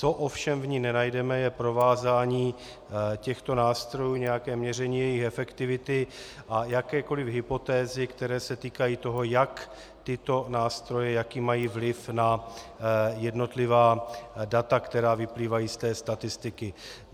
Co ovšem v ní nenajdeme, je provázání těchto nástrojů, nějaké měření jejich efektivity a jakékoliv hypotézy, které se týkají toho, jak tyto nástroje - jaký mají vliv na jednotlivá data, která vyplývají z té statistiky.